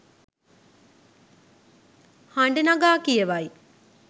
හඬ නගා කියවයි